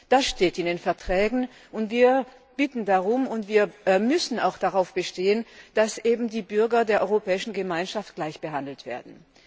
Das steht in den Verträgen, und wir bitten darum, und wir müssen auch darauf bestehen, dass die Bürger der Europäischen Gemeinschaft gleich behandelt werden.